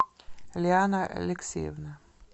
лиана алексеевна